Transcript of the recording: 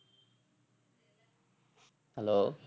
hello